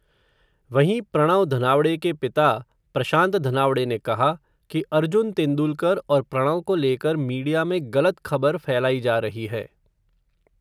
वहीं प्रणव धनावडे के पिता, प्रशांत धनावडे ने कहा, कि अर्जुन तेंदुलकर और प्रणव को लेकर मीडिया में ग़लत ख़बर फैलाई जा रही है.